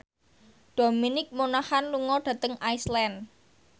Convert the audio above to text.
Dominic Monaghan lunga dhateng Iceland